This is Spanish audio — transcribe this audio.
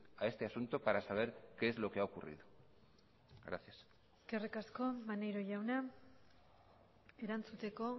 a este asunto para saber qué es lo que ha ocurrido gracias eskerrik asko maneiro jauna erantzuteko